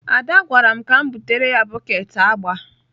Ade gwara m ka m butere ya bọket agba.